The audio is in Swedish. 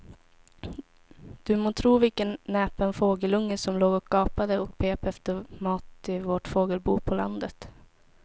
Du må tro vilken näpen fågelunge som låg och gapade och pep efter mat i vårt fågelbo på landet.